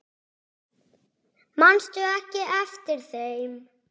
Manstu ekki eftir þeim?